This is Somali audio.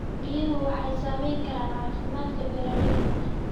Biyuhu waxay saamayn karaan caafimaadka beeralayda.